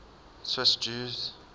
swiss jews